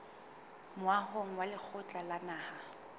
moahong wa lekgotla la naha